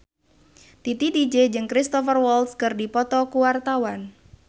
Titi DJ jeung Cristhoper Waltz keur dipoto ku wartawan